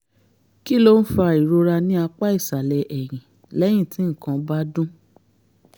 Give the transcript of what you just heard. kí ló ń fa ìrora ní apá ìsàlẹ̀ ẹ̀yìn lẹ́yìn tí nǹkan kan bá dún?